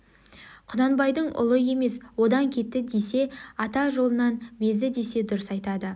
құнанбайдың ұлы емес одан кетті десе ата жолынан безді десе дұрыс айтады